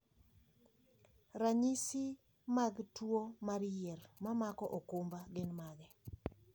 Ranyisi mag tuo mar yier mamako okumba gin mage?